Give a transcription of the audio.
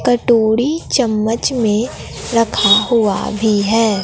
कटोरी चम्मच में रखा हुआ भी है।